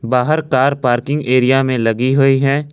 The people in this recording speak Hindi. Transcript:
बाहर कार पार्किंग एरिया में लगी हुई हैं।